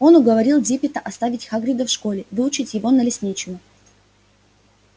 он уговорил диппета оставить хагрида в школе выучить его на лесничего